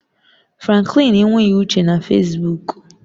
Franklin enweghị uche na Fesbuk